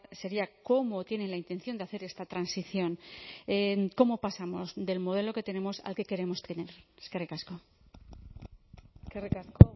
sería cómo tienen la intención de hacer esta transición cómo pasamos del modelo que tenemos al que queremos tener eskerrik asko eskerrik asko